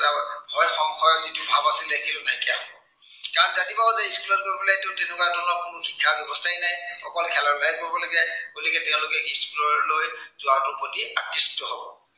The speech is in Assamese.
ভয় সংশয় যিটো ভাৱ আছিলে সেইটো নাইকিয়া হব। কাৰন তেওঁলোকে জানিব যে school ত গৈ পেলাইটো তেনেকুৱা ধৰনৰ কোনো শিক্ষা ব্য়ৱস্থাই নাই, অকল খেলা ধূলাহে কৰিব লাগে। গতিকে তেওঁলোকে school লৈ যোৱাটো প্ৰতি আকৃষ্ট হব।